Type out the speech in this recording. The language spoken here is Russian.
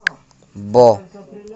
бо